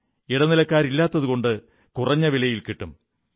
ഇടനിലക്കാരില്ലാത്തതുകൊണ്ട് കുറഞ്ഞ വിലയിൽ കിട്ടും